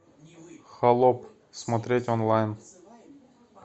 холоп смотреть онлайн